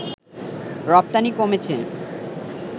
রপ্তানি কমেছে